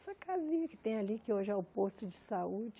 Essa casinha que tem ali, que hoje é o posto de saúde.